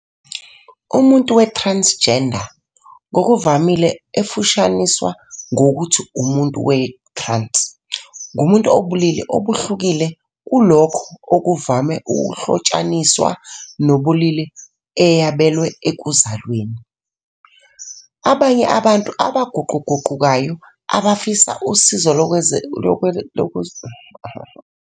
Umuntu we-transgender, ngokuvamile efushaniswa ngokuthi umuntu we-trans, ngumuntu obulili obuhlukile kulokho okuvame ukuhlotshaniswa nobulili eyabelwe ekuzalweni. Abanye abantu abaguquguqukayo abafisa usizo lwezokwelapha ukuze bashintshe kusuka kolunye ubulili baye kolunye bazibiza ngokuthi bangabantu abaguqguquguquka ubulili.